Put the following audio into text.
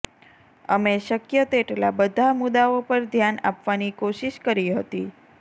અમે શક્ય તેટલા બધા મુદ્દાઓ પર ધ્યાન આપવાની કોશીશ કરી હતી